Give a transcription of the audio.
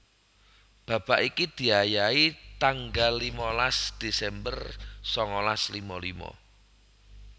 Babak iki diayahi tanggal limalas Desember sangalas lima lima